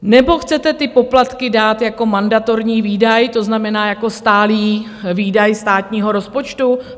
Nebo chcete ty poplatky dát jako mandatorní výdaj, to znamená jako stálý výdaj státního rozpočtu?